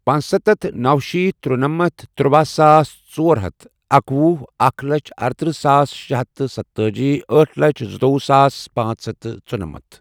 پانٛژستتھ ،نو شیتھ ترُنمتھ ،ترُواہ ساس ژور ہتھ اکوہ، اکھ لچھ ارٕترٕہ ساس شےٚ ہتھ تہٕ ستہٕ تٲجی ،آٹھ لچھ زٕتوُوہ ساس پانژھ ہتھ تہٕ ژُنمتھ